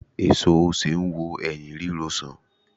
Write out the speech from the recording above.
Èso osè n wo ẹyín ríro sàn